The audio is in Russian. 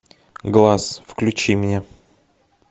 глаз включи мне